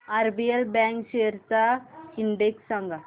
RBL bank shares चा index सांगा